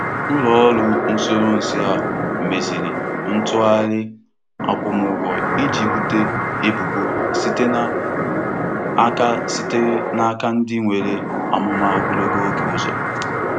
Ndị lara ezumike nka na-ebute isi nnweta ego ụzọ, dịka uru Nchekwa Ọha.